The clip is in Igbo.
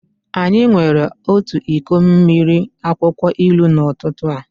Anyị were otu iko mmiri akwụkwọ ilu n'ụtụtụ a.